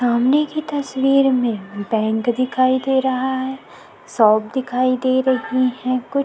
सामने की तस्वीर में बैंड दिखाई दे रहा है शॉप दिखाई दे रही है कुछ--